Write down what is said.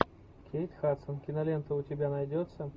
кейт хадсон кинолента у тебя найдется